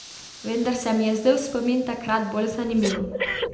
Vendar se mi je zdel spomin takrat bolj zanimiv.